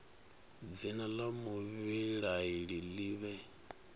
dzina la muvhilaleli li vhe